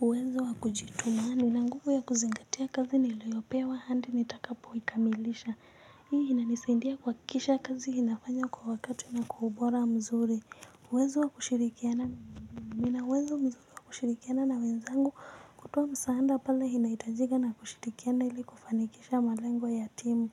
Uwezo wa kujituma, nina nguvu ya kuzingatia kazi niloyopewa hadi nitakapo ikamilisha. Hii ina inisaidia kuhakikisha kazi inafanywa kwa wakati na kwa ubora mzuri. Nina uwezo mzuri wa kushirikiana na wenzangu kutoa msaada pale inahitajika na kushirikiana ili kufanikisha malengo ya timu.